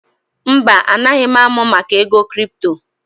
Mba, anaghị m amụ maka ego kripto